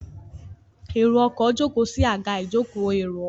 Èrò ọkọ̀ jókòó sí Àga ìjókòó èrò ọkọ̀